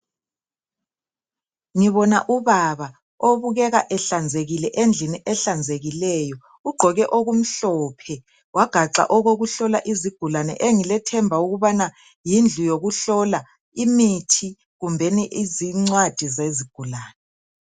Ngibona ubaba obukeka ehlanzekile endlini ehlanzekileyo. Ugqoke okumhlophe wagaxa okokuhlola izigulane, engilethemba ukubaña yindlu yokuhlola imithi kumbeni zingcwadi zezigulane.